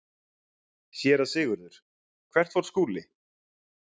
SÉRA SIGURÐUR: Hvert fór Skúli?